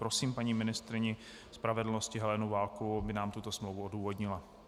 Prosím paní ministryni spravedlnosti Helenu Válkovou, aby nám tuto smlouvu odůvodnila.